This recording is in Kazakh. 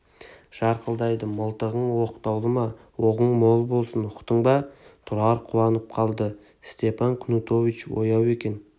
жарқылдайды мылтығың оқтаулы ма оғың мол болсын ұқтың ба тұрар қуанып қалды степан кнутович ояу екен